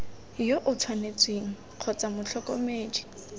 yo o tshwanetseng kgotsa motlhokomedi